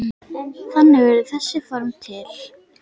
Þannig urðu þessi form til.